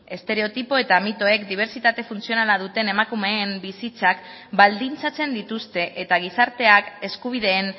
estereotipo eta mitoek dibertsitate funtzionala duten emakumeen bizitzak baldintzatzen dituzte eta gizarteak eskubideen